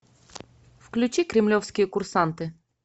включи кремлевские курсанты